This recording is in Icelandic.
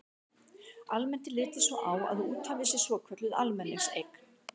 Almennt er litið svo á að úthafið sé svokölluð almenningseign.